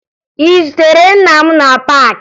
Ị zutere nna m na paakị?